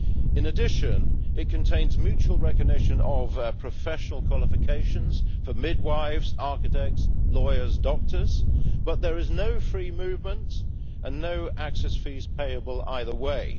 In addition, it contains mutual recognition of professional qualifications for midwives, architects, lawyers and doctors, but there is no free movement and no access fees payable either way.